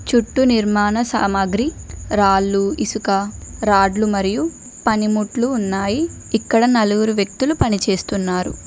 చుట్టూ నిర్మాణ సామాగ్రి రాళ్లు ఇసుక రాడ్లు మరియు పనిముట్లు ఉన్నాయి ఇక్కడ నలుగురు వ్యక్తులు పనిచేస్తున్నారు.